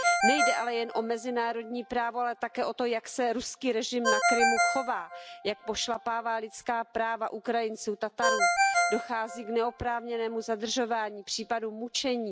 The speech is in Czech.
Nejde ale jen o mezinárodní právo, ale také o to, jak se ruský režim na Krymu chová, jak pošlapává lidská práva Ukrajinců, Tatarů, dochází k neoprávněnému zadržování, k případům mučení.